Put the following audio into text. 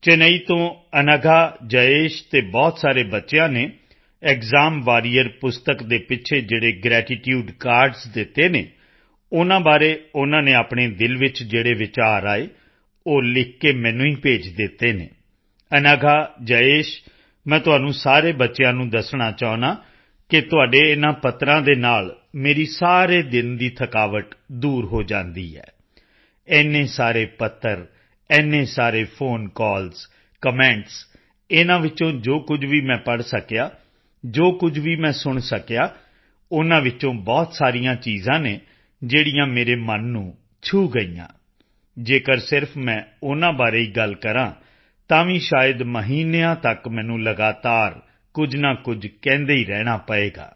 ਚੇਨਈ ਤੋਂ ਅਨਘਾ ਜਯੇਸ਼ ਅਤੇ ਬਹੁਤ ਸਾਰੇ ਬੱਚਿਆਂ ਨੇ ਐਕਸਾਮ ਵਾਰੀਅਰ ਪੁਸਤਕ ਦੇ ਪਿੱਛੇ ਜਿਹੜੇ ਗ੍ਰੈਟੀਟਿਊਡ ਕਾਰਡਜ਼ ਦਿੱਤੇ ਹਨ ਉਨ੍ਹਾਂ ਬਾਰੇ ਉਨ੍ਹਾਂ ਨੇ ਆਪਣੇ ਦਿਲ ਵਿੱਚ ਜਿਹੜੇ ਵਿਚਾਰ ਆਏ ਉਹ ਲਿਖ ਕੇ ਮੈਨੂੰ ਹੀ ਭੇਜ ਦਿੱਤੇ ਹਨ ਅਨਘਾ ਜਯੇਸ਼ ਮੈਂ ਤੁਹਾਨੂੰ ਸਾਰੇ ਬੱਚਿਆਂ ਨੂੰ ਦੱਸਣਾ ਚਾਹੁੰਦਾ ਹਾਂ ਕਿ ਤੁਹਾਡੇ ਇਨ੍ਹਾਂ ਪੱਤਰ੍ਹਾਂ ਦੇ ਨਾਲ ਮੇਰੀ ਸਾਰੇ ਦਿਨ ਦੀ ਥਕਾਵਟ ਦੂਰ ਹੋ ਜਾਂਦੀ ਹੈ ਇੰਨੇ ਸਾਰੇ ਪੱਤਰ ਇੰਨੇ ਸਾਰੇ ਫੋਨ ਕਾਲ ਕਮੈਂਟਸ ਇਨ੍ਹਾਂ ਵਿੱਚੋਂ ਜੋ ਕੁਝ ਵੀ ਮੈਂ ਪੜ੍ਹ ਸਕਿਆ ਜੋ ਕੁਝ ਵੀ ਮੈਂ ਸੁਣ ਸਕਿਆ ਉਨ੍ਹਾਂ ਵਿੱਚੋਂ ਬਹੁਤ ਸਾਰੀਆਂ ਚੀਜ਼ਾਂ ਹਨ ਜਿਹੜੀਆਂ ਮੇਰੇ ਮਨ ਨੂੰ ਛੂਹ ਗਈਆਂ ਜੇਕਰ ਸਿਰਫ਼ ਮੈਂ ਉਨ੍ਹਾਂ ਬਾਰੇ ਹੀ ਗੱਲ ਕਰਾਂ ਤਾਂ ਵੀ ਸ਼ਾਇਦ ਮਹੀਨਿਆਂ ਤੱਕ ਮੈਨੂੰ ਲਗਾਤਾਰ ਕੁਝ ਨਾ ਕੁਝ ਕਹਿੰਦੇ ਹੀ ਰਹਿਣਾ ਪਵੇਗਾ